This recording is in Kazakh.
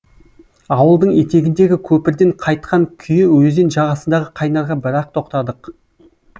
ауылдың етегіндегі көпірден қайтқан күйі өзен жағасындағы қайнарға бір ақ тоқтадық